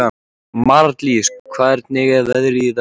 Marlís, hvernig er veðrið í dag?